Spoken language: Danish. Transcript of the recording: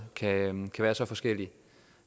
kan være så forskellig